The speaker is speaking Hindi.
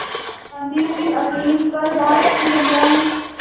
गांधी की अपील पर भारत की जनता ने